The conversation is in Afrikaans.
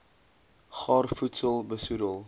gaar voedsel besoedel